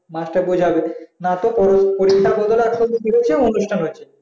master বোঝাবে না তো পরীক্ষা বদলে না তো অনুষ্ঠ হয়েছে